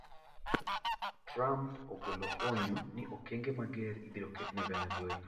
Trump ogolo onyo ni okenge mager ibiro ket ne venezuela.